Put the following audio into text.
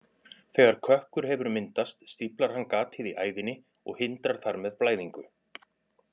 Þegar kökkur hefur myndast stíflar hann gatið í æðinni og hindrar þar með blæðingu.